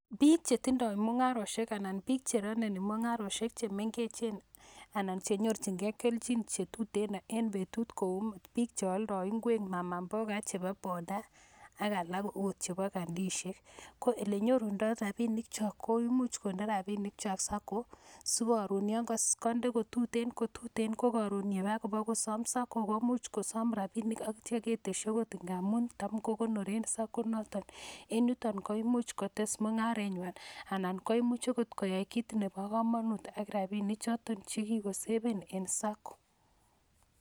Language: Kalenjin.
Piik chetindoi mungaroshek ama piik che rononi mung'aroshek chemengechen ana chenyorchingei kelchin chetuten en betut koi piik cheoldoi ng'wek mama mboga ak chebo bodaa ak alak akot chebo kandishek ko lenyorundo ropinik cho kuimuch konde rapinik sacco si karon kande ko tuten tuten ko karon kaba kosom sacco komuch kosom rapinik akityo keteshi Ako ndamun tam kokonoren sacco noton en yuto koimuchi kotes mung'aret ng'wan ana koimuch koyai kiit nebo komonut eng rapinik choto Kiko saven en sacco.